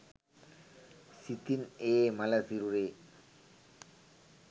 සිතින් ඒ මළ සිරුරේ